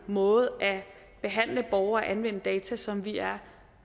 måde at behandle og at anvende data på som vi er